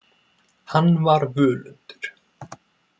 Hann var völundur.